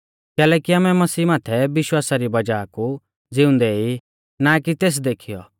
कैलैकि आमै मसीह माथै विश्वासा री वज़ाह कु ज़िउंदै ई ना कि तेस देखीयौ